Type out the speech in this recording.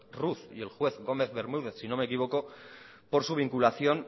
ruz y el juez gómez bermúdez si no me equivoco por su vinculación